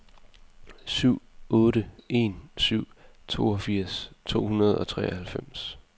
syv otte en syv toogfirs to hundrede og treoghalvfems